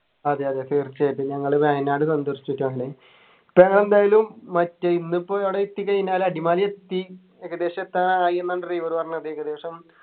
അതെ അതെ തീർച്ചയായിട്ടും ഞങ്ങള് വയനാട് ഇപ്പൊ ഞാൻ എന്തായാലും മറ്റെ ഇന്നിപ്പൊ ആട എത്തിക്കഴിഞ്ഞാല് അടിമാലി എത്തി ഏകദേശം എത്താനായിന്നാ driver പറഞ്ഞത് ഏകദേശം